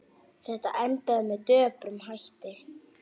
Þetta endaði með döprum hætti.